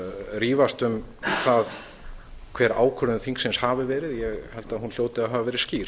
rífast um það hver ákvörðun þingsins hafi verið ég held að hún hljóti að hafa verið skýr